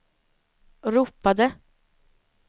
ropade